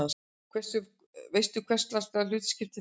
Veistu hverslags hlutskipti það er?